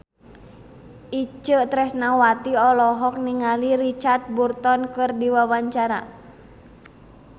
Itje Tresnawati olohok ningali Richard Burton keur diwawancara